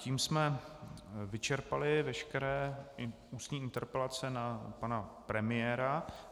Tím jsme vyčerpali veškeré ústní interpelace na pana premiéra.